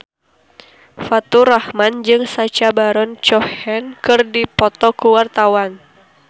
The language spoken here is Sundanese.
Faturrahman jeung Sacha Baron Cohen keur dipoto ku wartawan